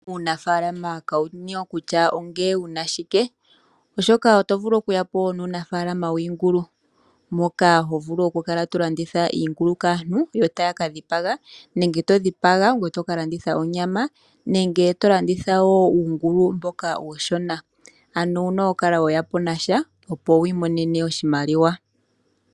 Unafalama kawuna we kutya onge wuna shike, oshoka oto vulu okuya po nuunafaalama wiingulu, moka ho vulu oku kala tolanditha iingulu kaantu, ya taya ka dhipaga, nenge to dhipaga ngoye toka landitha onyama, nenge to landitha wo uungulu mboka uushona. Ano owuna oku kala weya po nasha, opo wu imonene oshimaliwa.